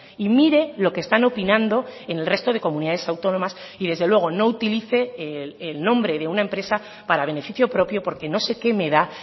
y mire lo que están opinando en el resto de comunidades autónomas y desde luego no utilice el nombre de una empresa para beneficio propio porque no sé qué me da